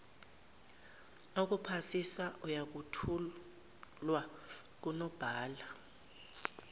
okuphasisa ayothulwa kunobhala